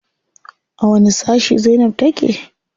A wani sashi zainab take?